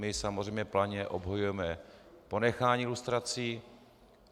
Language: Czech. My samozřejmě plamenně obhajujeme ponechání lustrací.